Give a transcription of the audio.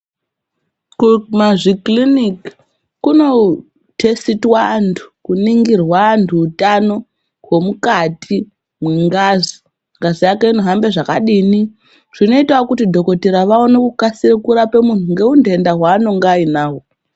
Kumazvikiriniki kunotesitwa antu kuningirwa antu utano hwemukati mwengazi. Ngazi yako inohambe zvakadini, zvinoitawo kuti dhokodheya awone kukasike kurape munhu ngeutenda hwaanenge anahwo.